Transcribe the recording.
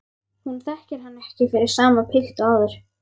Hún þekkir hann ekki fyrir sama pilt og áður.